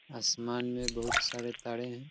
आसमान में बहुत सारे ताड़े हैं |